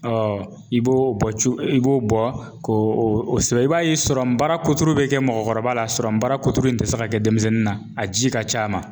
i b'o bɔ cun i b'o bɔ k'o sɛbɛn? i b'a ye baara kuturu bɛ kɛ mɔgɔkɔrɔbala barakutu in ti se ka kɛ denmisɛnnin na, a ji ka ca a ma